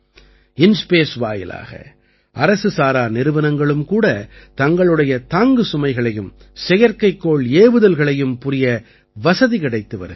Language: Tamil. இன்ஸ்பேஸ் வாயிலாக அரசுசாரா நிறுவனங்களும் கூட தங்களுடைய தாங்கு சுமைகளையும் செயற்கைக்கோள் ஏவுதல்களையும் புரிய வசதி கிடைத்து வருகிறது